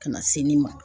Ka na se nin ma